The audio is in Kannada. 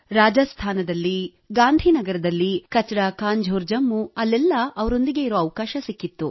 ರಾಜಸ್ಥಾನದಲ್ಲಿ ಗಾಂಧಿ ನಗರದಲ್ಲಿ ಕಚರಾ ಕಾಂಝೋರ್ ಜಮ್ಮು ಅಲ್ಲೆಲ್ಲಿ ಅವರೊಂದಿಗೆ ಇರುವ ಅವಕಾಶ ಸಿಕ್ಕಿತ್ತು